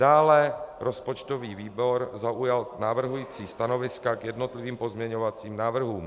Dále rozpočtový výbor zaujal navrhující stanoviska k jednotlivým pozměňovacím návrhům.